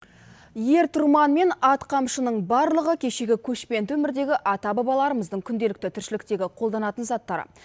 ер тұрман мен ат қамшының барлығы кешегі көшпенді өмірдегі ата бабаларымыздың күнделікті тіршіліктегі қолданатын заттары